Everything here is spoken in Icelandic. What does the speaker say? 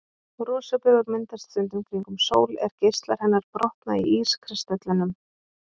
Rosabaugur myndast stundum kringum sól er geislar hennar brotna í ískristöllunum.